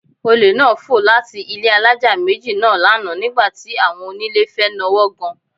Olè náà fò láti ilé alájà méjì náà lánàá nígbà tí àwọn onílé fẹ́ nawọ́ gan